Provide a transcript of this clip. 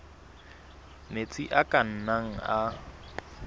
metsi a ka nnang a